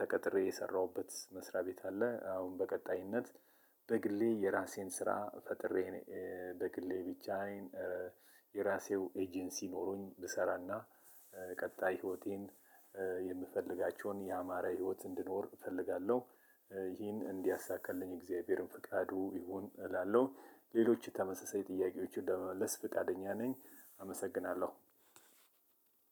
ተቀጥሬ የሰራሁበት መስሪያ ቤት አለ። አሁን በቀጣይነት በግሌ የራሴን ስራ ፈጥሬ። በግሌ ብቻ አይን የራሴው ኤጀንሲ ኖሮኝ ብሰራና ቀጣይ ህይወቴን የምፈልጋቸውን የአማረ ህይወት እንድኖር እፈልጋለሁ። ይሄን እንዲያሳካልኝ የእግዚአብሔርን ፍቃዱ ይሁን እላለሁ። ሌሎች የተመሳሳይ የጥያቄዎችን ለመመለስ ፍቃደኛ ነኝ። አመሰግናለሁ።